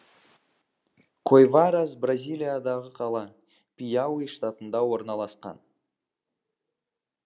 койварас бразилиядағы қала пиауи штатында орналасқан